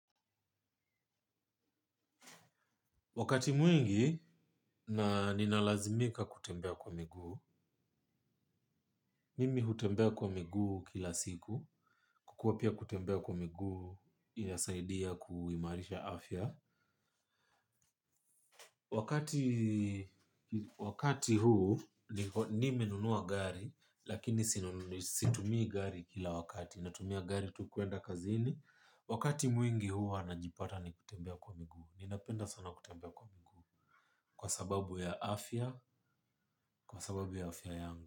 Wakati mwingi, ninalazimika kutembea kwa miguu. Mimi hutembea kwa miguu kila siku. Kukua pia kutembea kwa miguu inasaidia kuimarisha afya. Wakati huu, nimenunua gari, lakini situmii gari kila wakati. Natumia gari, tu kuenda kazini. Wakati mwingi huwa, najipata nikitembea kwa miguu. Ninapenda sana kutembea kwa miguu. Kwa sababu ya afya, kwa sababu ya afya yangu.